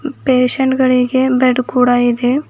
Patient ಗಳಿಗೆ bed ಕೂಡ ಇದೆ.